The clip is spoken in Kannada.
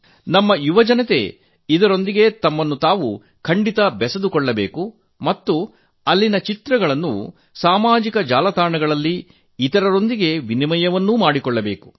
ನಮ್ಮ ಯುವಜನತೆ ಅವುಗೊಳೊಂದಿಗೆ ಬೆಎರೆಯಬೇಕು ಮತ್ತು ಅಲ್ಲಿನ ಭೇಟಿ ನೀಡಿದಾಗ ಅಲ್ಲಿನ ಚಿತ್ರಗಳನ್ನು ಸಾಮಾಜಿಕ ಜಾಲತಾಣಗಳಲ್ಲಿ ಹಂಚಿಕೊಳ್ಳಬೇಕು